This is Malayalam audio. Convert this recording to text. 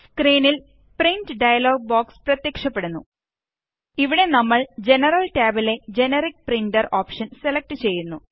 സ്ക്രീനില് പ്രിന്റ് ഡയലോഗ് ബോക്സ് പ്രത്യക്ഷപ്പെടുന്നു ഇവിടെ നമ്മള് ജനറല് ടാബിലെ ജെനറിക്ക് പ്രിന്റർ ഓപ്ഷന് സെലക്ട് ചെയ്യുന്നു